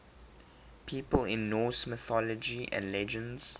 people in norse mythology and legends